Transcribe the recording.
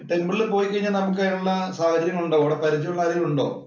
ടെമ്പിളില്‍ പോയിക്കഴിഞ്ഞാൽ നമുക്ക് അതിനു ഉള്ള സാഹചര്യം ഉണ്ടാവുമോ? നമുക്ക് പരിചയമുള്ള ആരെങ്കിലും ഉണ്ടോ?